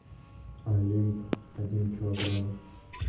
олимп дин килограмм